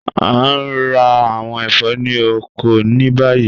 A ń rá àwọn ẹfọ̀ ni ọkọ̀ ni bayí.